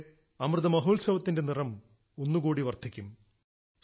അതിലൂടെ അമൃത മഹോത്സവത്തിന്റെ നിറം ഒന്നു കൂടി വർദ്ധിക്കും